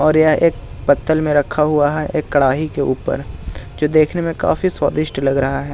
और यह एक पत्तल में रखा हुआ है एक कढ़ाई के ऊपर जो देखने में काफी स्वादिष्ट लग रहा है।